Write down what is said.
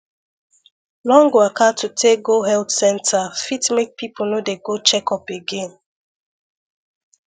long waka to take go health center fit make people no dey go checkup again